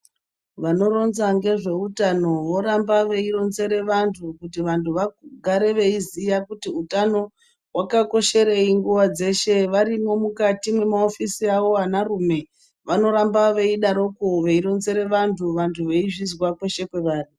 Vanoronza nezvehutano voramba veironzera vantu kuti vantu vagare veiziva kuti Hutano hwakakosherei nguwa dzeshe varimo mukatimwo mukati memaofisi mawo vana rume vanoramba veidaroko veironzera vantu vantu veizviziva kweshe kwavari.